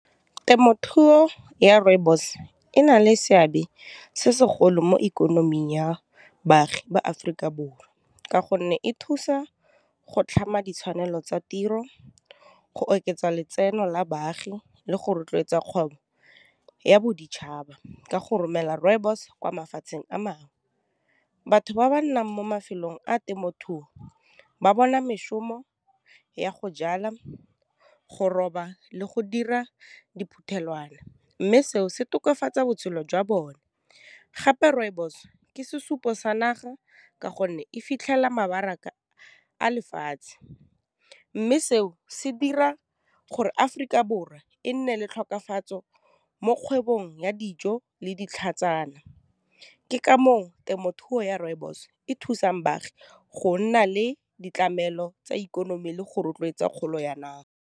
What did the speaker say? Temothuo ya rooibos ena le seabe se segolo mo ikonoming ya baagi ba Aforika Borwa ka gonne e thusa go tlhama ditshwanelo tsa tiro go oketsa letseno la baagi le go rotloetsa kgobo ya boditšhaba ka go romela rooibos kwa mafatsheng a mangwe. Batho ba ba nnang mo mafelong a temothuo ba bona mešomo ya go jala, go roba le go dira diphuthelwana mme seo se tokafatsa botshelo jwa bone gape rooibos ke sesupo sa naga ka gonne e fitlhela mabaraka a lefatshe mme seo se dira gore Aforika Borwa e nne le tlhokafatso mo kgwebong ya dijo le ditlhatsana ke ka moo temothuo ya rooibos e thusang baagi go nna le ditlamelo tsa ikonomi le go rotloetsa kgolo ya naga.